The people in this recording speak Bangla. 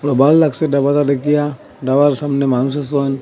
বাল লাগসে ডাবাটা দেকিয়া ডাবার সামনে মানুষ আসে অন--